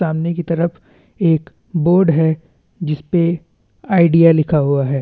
सामने की तरफ एक बोर्ड है जिसपे आईडिया लिखा हुआ है।